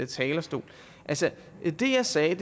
talerstol altså det jeg sagde